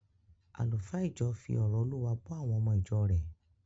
Àlùfáà ìjọ fi ọ̀rọ̀ Olúwa bọ́ àwọn ọmọ ìjọ rẹ̀